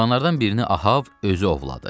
Heyvanlardan birini Ahav özü ovladı.